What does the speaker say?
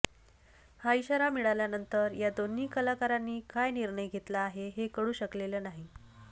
हा इशारा मिळाल्यानंतर या दोन्ही कलाकारांनी काय निर्णय घेतला आहे हे कळू शकलेलं नाही